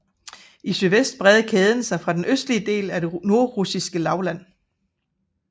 I sydvest breder kæden sig fra den østlige del af det nordrussiske lavland